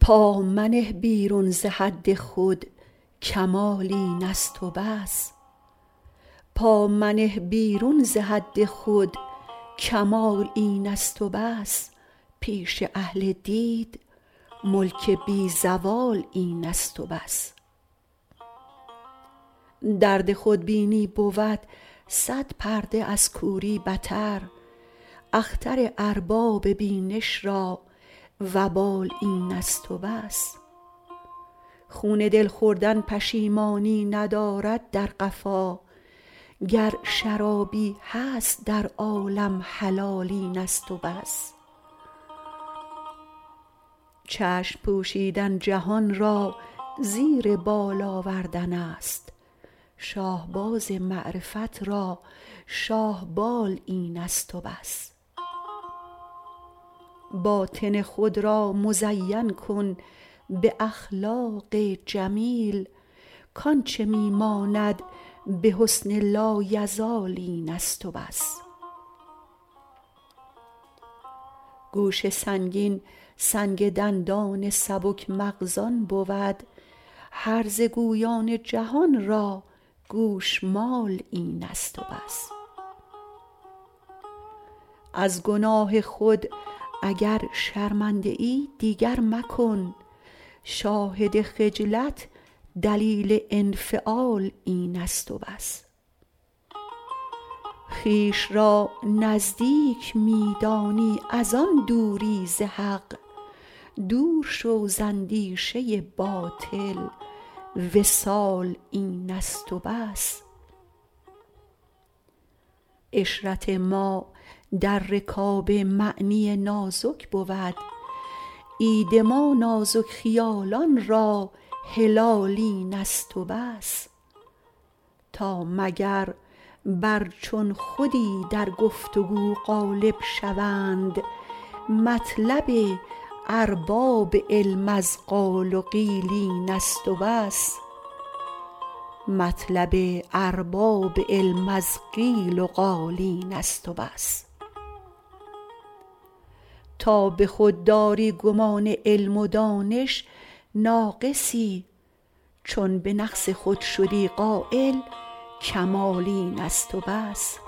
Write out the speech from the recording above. پامنه بیرون ز حد خود کمال این است و بس پیش اهل دید ملک بی زوال این است و بس درد خودبینی بود صد پرده از کوری بتر اختر ارباب بینش را وبال این است و بس خون دل خوردن پشیمانی ندارد در قفا گر شرابی هست در عالم حلال این است و بس چشم پوشیدن جهان را زیر بال آوردن است شاهباز معرفت را شاهبال این است و بس باطن خود را مزین کن به اخلاق جمیل کانچه می ماند به حسن لایزال این است و بس گوش سنگین سنگ دندان سبک مغزان بود هرزه گویان جهان را گوشمال این است وبس از گناه خود اگر شرمنده ای دیگر مکن شاهد خجلت دلیل انفعال این است و بس خویش را نزدیک می دانی ازان دوری ز حق دورشو ز اندیشه باطل وصال این است و بس عشرت ما در رکاب معنی نازک بود عید ما نازک خیالان را هلال این است و بس تا مگر بر چون خودی در گفتگو غالب شوند مطلب ارباب علم از قیل و قال این است و بس تا به خودداری گمان علم و دانش ناقصی چون به نقص خود شدی قایل کمال این است و بس